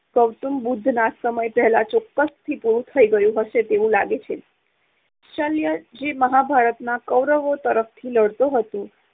ગૌતમ બુદ્ધના સમય પહેલાંં ચોક્કસથી પુરુ થઇ ગયું હશે તેવું લાગે છે. શલ્ય જે મહાભારતમાં કૌરવો તરફથી લડતો હતો